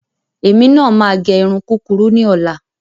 Èmi máa gẹ irun kúkurú ní ọ̀la.